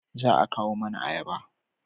Za a kawo mana ayaba